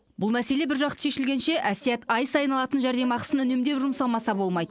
бұл мәселе біржақты шешілгенше әсият ай сайын алатын жәрдемақысын үнемдеп жұмсамаса болмайды